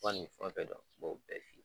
Fo ka ni fɛn fɛn dɔn m'o bɛɛ f'i ye.